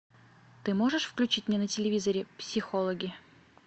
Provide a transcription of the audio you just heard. ты можешь включить мне на телевизоре психологи